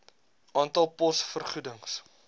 aantal pos vergoedings